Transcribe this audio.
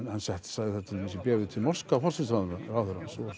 sagði það til dæmis í bréfi til norska forsætisráðherrans sem